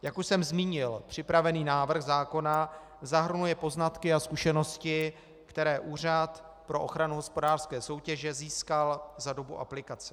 Jak už jsem zmínil, připravený návrh zákona zahrnuje poznatky a zkušenosti, které Úřad pro ochranu hospodářské soutěže získal za dobu aplikace.